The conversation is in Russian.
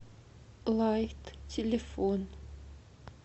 лайт телефон